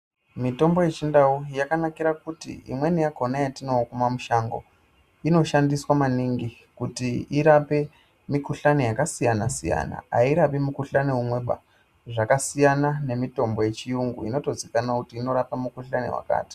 Mutombo yechindau yakanakira kuti imweni yakona yatomwa mushango onoshandiswa maningi kuti irape mukuhlani yakasiyana siyana airapi mukuhlani umweba zvasiyana neyechiyungu inotozikanwa kuti iyi inorapa mukuhlani wakati.